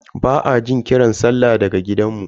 Ba a jin kiran sallah daga gidanmu.